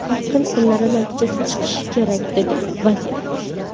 Yaqin kunlarda natijasi chiqishi kerak”, – dedi vazir.